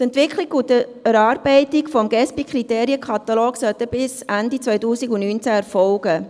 Die Entwicklung und Erarbeitung des Gesbi-Kriterienkatalogs sollten bis Ende 2019 erfolgen.